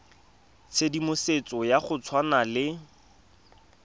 tshedimosetso ya go tshwana le